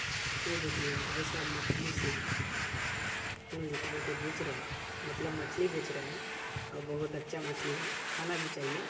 यह देखिए भाई साहब मछली से खून निकाल के बेच रहे हैं मतलब मछली बेच रहे है और बहुत अच्छा मछली है खाना भी चाहिये।